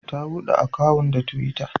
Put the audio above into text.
Ta buɗe akawun da twitter.